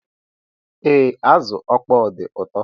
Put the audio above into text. Ee, azụ ịkpọ dị ụtọ